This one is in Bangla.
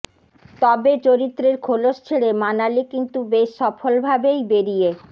তবে চরিত্রের খোলস ছেড়ে মানালি কিন্তু বেশ সফলভাবেই বেরিয়ে